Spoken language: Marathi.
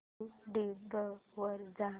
यूट्यूब वर जा